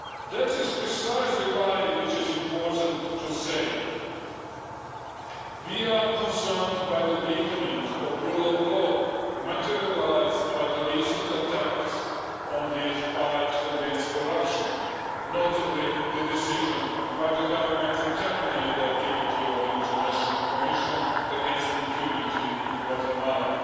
That is precisely why it is important to say that we are concerned by the weakening of the rule of law materialised by the recent attacks on the fight against corruption, notably the decision by the Government to terminate the activity of the International Commission against Impunity in Guatemala